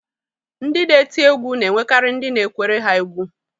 Ndị na-eti egwu na-enwekarị ndị na-ekwere ha egwú